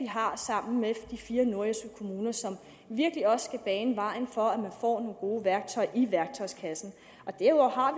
har sammen med de fire nordjyske kommuner som virkelig også skal bane vejen for at man får nogle gode værktøjer i værktøjskassen derudover har